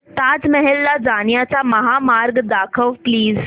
ताज महल ला जाण्याचा महामार्ग दाखव प्लीज